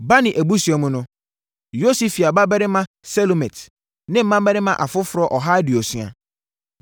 Bani abusua mu no: Yosifia babarima Selomit ne mmarima afoforɔ ɔha aduosia.